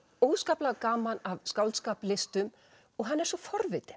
óskaplega gaman af skáldskap listum og hann er svo forvitinn